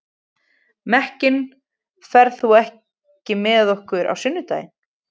Mekkin, ferð þú með okkur á sunnudaginn?